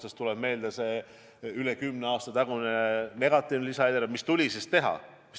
Mulle tuleb meelde rohkem kui kümne aasta tagune negatiivne lisaeelarve, mis tuli teha.